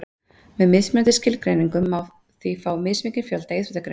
Með mismunandi skilgreiningum má því fá mismikinn fjölda íþróttagreina.